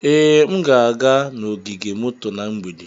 Ee, m ga-aga n'ogige moto na mgbede.